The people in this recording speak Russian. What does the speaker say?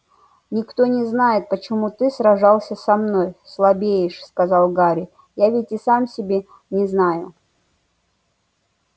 никто не знает почему ты сражался со мной слабеешь сказал гарри я ведь и сам себя не знаю